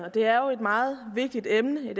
og det er jo et meget vigtigt emne